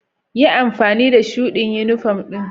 Yi amfani da shuɗi yunifom ɗin.